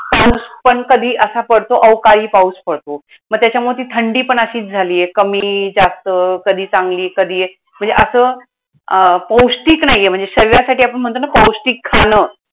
पण कधी असा पडतो, अवकाळी पाऊस पडतो. मग त्याच्यामुळं ती थंडीपण अशीच झालीये. कमी जास्त, कधी चांगली कधीए. म्हणजे असं अं पौष्टिक नाहीये म्हणजे शरीरासाठी आपण म्हणतो ना पौष्टिक खाणं